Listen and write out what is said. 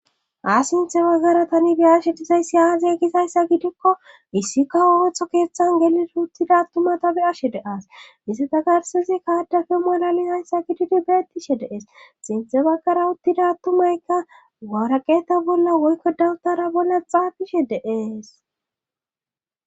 Ha sinthe baggara tani be ashe dizayssi aazia gizayssa gidikko issi ka woowetho keeththan gelir uttida attumatabe ashe de as issi takarsezi kaadafe malali hayssa gididi beettishe dees sinthe baggara uttida attumaykka waraqeeta bolla woykko dawutara bolla xaafishe deees